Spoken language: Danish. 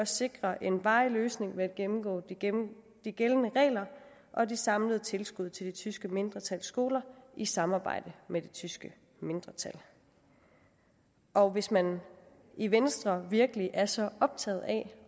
sikre en varig løsning ved at gennemgå de gældende regler og de samlede tilskud til det tyske mindretals skoler i samarbejde med det tyske mindretal og hvis man i venstre virkelig er så optaget af